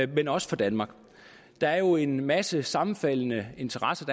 men også for danmark der er jo en masse sammenfaldende interesser